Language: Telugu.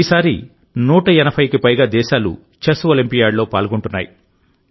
ఈసారి 180కి పైగా దేశాలు చెస్ ఒలింపియాడ్లో పాల్గొంటున్నాయి